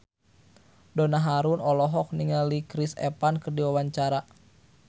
Donna Harun olohok ningali Chris Evans keur diwawancara